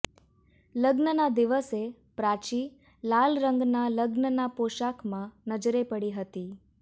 લગ્નના દિવસે પ્રાચી લાલ રંગના લગ્નના પોશાકમાં નજરે પડી હતી